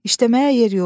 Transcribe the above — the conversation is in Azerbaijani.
İşləməyə yer yox.